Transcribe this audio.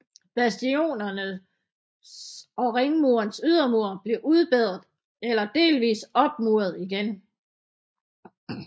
Bastionernes og ringmurens ydermure blev udbedret eller delvis opmuret igen